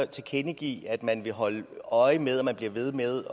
tilkendegive at man holder øje med og man bliver ved med